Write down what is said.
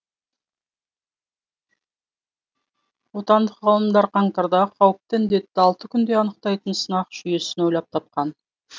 отандық ғалымдар қаңтарда қауіпті індетті алты күнде анықтайтын сынақ жүйесін ойлап тапқан